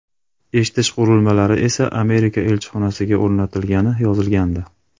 Eshitish qurilmalari esa Amerika elchixonasiga o‘rnatilgani yozilgandi.